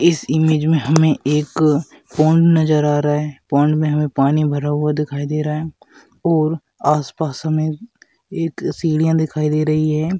इस इमेज में हमें एक पाउंड नजर आ रहा है पाउंड में हमें पानी भरा हुआ दिखाई दे रहा है और आसपास हमें एक सीढ़ियां दिखाई दे रही है।